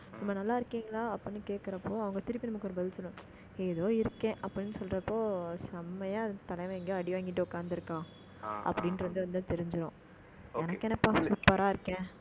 நம்ம நல்லா இருக்கீங்களா அப்படின்னு கேட்கிறப்போ, அவங்க திருப்பி, நமக்கு ஒரு பதில் சொல்லணும். ஏதோ இருக்கே, அப்படின்னு சொல்றப்போ, செம்மையா, அந்த தலைவன் எங்கேயோ, அடி வாங்கிட்டு உட்கார்ந்திருக்கான். ஆஹ் அப்படின்றது வந்து, தெரிஞ்சிரும். okay எனக்கு என்னப்பா super ஆ இருக்கேன்